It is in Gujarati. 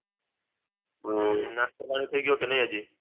હમ નાસ્તા પાણી થઇ ગયો કે નઈ હજી